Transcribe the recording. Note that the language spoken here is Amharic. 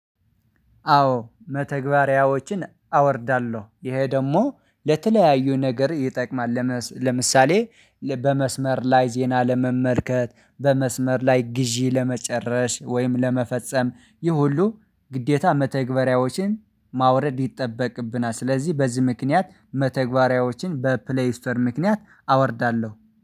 አዎ መተግበሪያዎችን አወርዳለሁ። ይሄ ደግሞ ለተለያዩ ነገር ይጠቅማል። ለምሳሌ በመስመር ላይ ዜና ለመመልከት በመስመር ላይ ግዢ ለመጨረስ ወይም ለመፈጸም ይህ ሁሉ ግዴታ መተግበሪያዎችን ማውረድ ይጠበቅብናል። ስለዚህ በዚህ ምክንያት መተግባሪያዎችን በፕሌይ ስቶር ምክንያት አወርዳለሁ።